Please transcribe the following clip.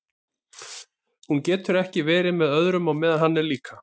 Hún getur ekki verið með öðrum á meðan hann er líka.